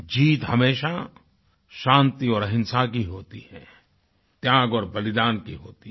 जीत हमेशा शांति और अहिंसा की होती है त्याग और बलिदान की होती है